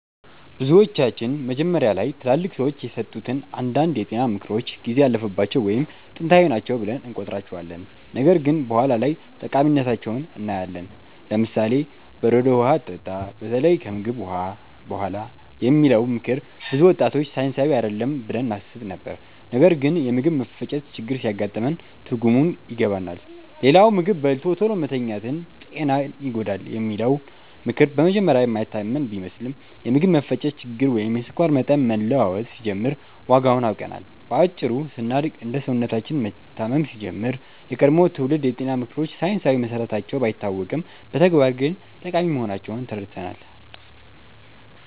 ብዙዎቻችን መጀመሪያ ላይ ትላልቅ ሰዎች የሰጡትን አንዳንድ የጤና ምክሮች ጊዜ ያለፈባቸው ወይም ጥንታዊ ናቸው ብለን እንቆጥራቸዋለን፣ ነገር ግን በኋላ ላይ ጠቃሚነታቸውን እናያለን። ለምሳሌ፦ "በረዶ ውሃ አትጠጣ፣ በተለይ ከምግብ በኋላ" የሚለው ምክር ብዙ ወጣቶች ሳይንሳዊ አይደለም ብለን እናስብ ነበር፣ ነገር ግን የምግብ መፈጨት ችግር ሲያጋጥመን ትርጉሙን ይገባናል። ሌላው "ምግብ በልቶ ቶሎ መተኛት ጤናን ይጎዳል" የሚለው ምክር በመጀመሪያ የማይታመን ቢመስልም፣ የምግብ መፈጨት ችግር ወይም የስኳር መጠን መለዋወጥ ሲጀምር ዋጋውን አውቀናል። በአጭሩ ስናድግ እና ሰውነታችን መታመም ሲጀምር፣ የቀድሞ ትውልድ የጤና ምክሮች ሳይንሳዊ መሰረታቸው ባይታወቅም በተግባር ግን ጠቃሚ መሆናቸውን ተረድተናል።